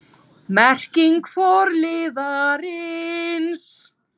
Merking forliðarins